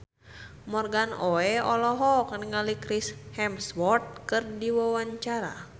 Morgan Oey olohok ningali Chris Hemsworth keur diwawancara